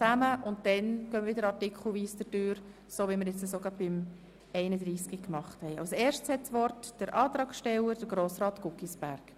Zuerst hat der Antragsteller des Rückweisungsantrags das Wort, Grossrat Guggisberg.